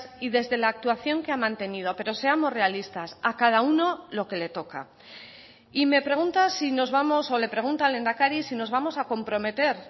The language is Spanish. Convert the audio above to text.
y desde la actuación que ha mantenido pero seamos realistas a cada uno lo que le toca y me pregunta si nos vamos o le pregunta al lehendakari si nos vamos a comprometer